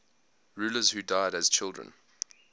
rulers who died as children